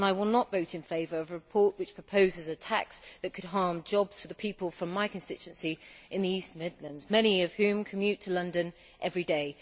I will not vote in favour of a report which proposes a tax that could harm jobs for the people from my constituency in the East Midlands, many of whom commute to London every day.